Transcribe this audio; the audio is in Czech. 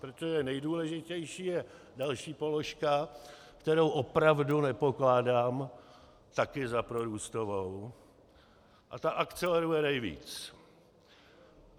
Protože nejdůležitější je další položka, kterou opravdu nepokládám také za prorůstovou, a ta akceleruje nejvíc.